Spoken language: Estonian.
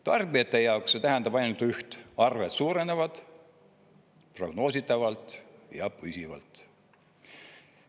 Tarbijate jaoks see tähendab ainult üht: arved suurenevad prognoositavalt ja püsivalt.